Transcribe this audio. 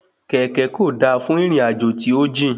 Kẹ̀kẹ́ kò da fún ìrìn àjò tí ójìn